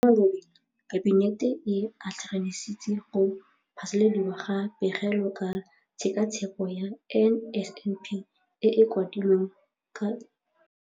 Mo malobeng Kabinete e atlenegisitse go phasaladiwa ga Pegelo ka Tshekatsheko ya NSNP e e kwadilweng ke Lefapha la Tiromaano, Tekolo le Tshekatsheko ya Tiro, DPME.